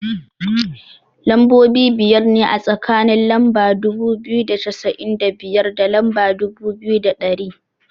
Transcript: Lambobi biyar ne, a tsakanin lamba dubu biyu da cassa'in da biyar, da lamba dubu biyu da ɗari.